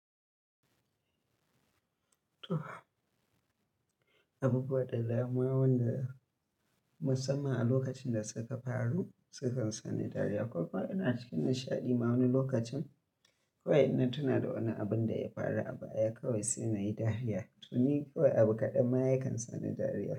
Abubuwa da dama waɗan musamman a lokacin da suka faru, sukan sani dariya. Koma ina cikin nishaɗi ma wani lokacin, kawai in na tuna da wani abin da ya faru a baya kawai sai nayi dariya. To ni kawai abu kaɗan ma yankan sani dariya.